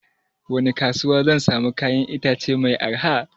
Wani kasuwa zan samu kayan itace mai arha?